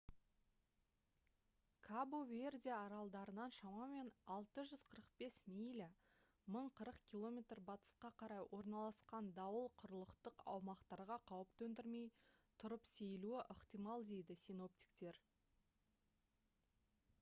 кабо-верде аралдарынан шамамен 645 миля 1040 км батысқа қарай орналасқан дауыл құрлықтық аумақтарға қауіп төндірмей тұрып сейілуі ықтимал дейді синоптиктер